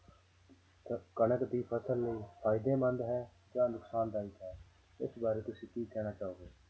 ਤਾਂ ਕਣਕ ਦੀ ਫ਼ਸਲ ਨੂੰ ਫ਼ਾਇਦੇਮੰਦ ਹੈ ਜਾਂ ਨੁਕਸਾਨਦਾਇਕ ਹੈ, ਇਸ ਬਾਰੇ ਤੁਸੀਂ ਕੀ ਕਹਿਣਾ ਚਾਹੋਗੇ।